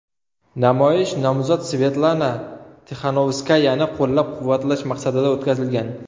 Namoyish nomzod Svetlana Tixanovskayani qo‘llab-quvvatlash maqsadida o‘tkazilgan.